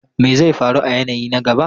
Me zai faru a yanayi na gaba?